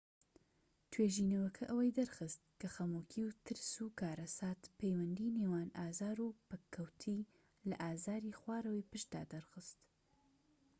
توێژینەوەکە ئەوەی دەرخست کە خەمۆکی و ترس و کارەسات پەیوەندی نێوان ئازار و پەککەووتی لە ئازاری خوارەوەی پشتدا دەرخست